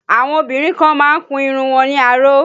Àwọn obìnrin kan má ń kun irun wọn ní aró